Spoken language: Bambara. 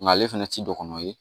Nga ale fɛnɛ ti don kɔnɔ ye